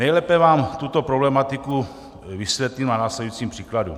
Nejlépe vám tuto problematiku vysvětlím na následujícím příkladu.